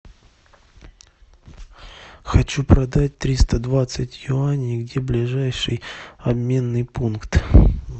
хочу продать триста двадцать юаней где ближайший обменный пункт